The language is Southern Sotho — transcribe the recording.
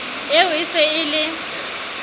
eo e se e le